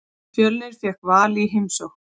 Fjölnir fékk Val í heimsókn.